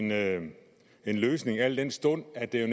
lave en løsning al den stund at det